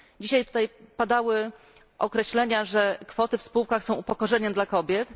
Dzisiaj tutaj padały określenia, że kwoty w spółkach są upokorzeniem dla kobiet.